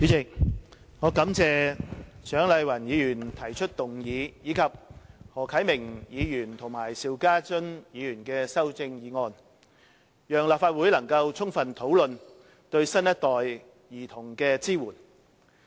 主席，我感謝蔣麗芸議員提出議案，以及何啟明議員提出修正案，讓立法會能夠充分討論對新一代兒童的支援。